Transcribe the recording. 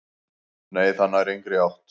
"""Nei, það nær engri átt."""